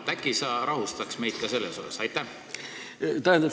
Äkki sa rahustad meid ka selles asjas?